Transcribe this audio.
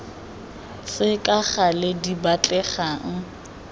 tse ka gale di batlegang